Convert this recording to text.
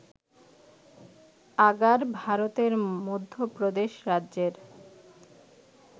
agar, ভারতের মধ্য প্রদেশ রাজ্যের